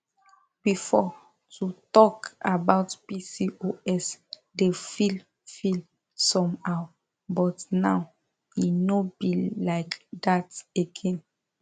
before to talk about pcos dey feel feel somehow but now e no be like that again